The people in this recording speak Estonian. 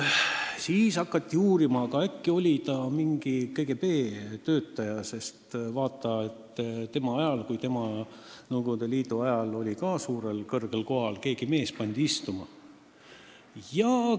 Siis hakati veel uurima, et äkki oli Rüütel kunagi KGB töötaja, sest ta oli Nõukogude Liidu ajal ka kõrgel kohal, kui mingi mees istuma pandi.